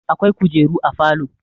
akwai kujeru a falo